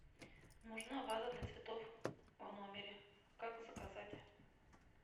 нужна ваза для цветов в номере как заказать